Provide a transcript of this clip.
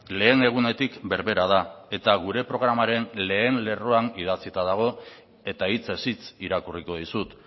lehen egunetik berbera da eta gure programaren lehen lerroan idatzita dago eta hitzez hitz irakurriko dizut